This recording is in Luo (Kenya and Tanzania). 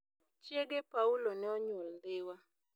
Chiege Paulo ne onyuol Dhiwa.